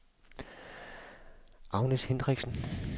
Agnes Hinrichsen